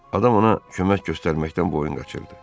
Adam ona kömək göstərməkdən boyun qaçırdı.